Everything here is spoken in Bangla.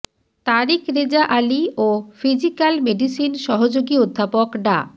তারিক রেজা আলী ও ফিজিক্যাল মেডিসিন সহযোগী অধ্যাপক ডা